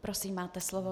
Prosím, máte slovo.